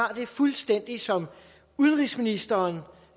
har det fuldstændig som udenrigsministeren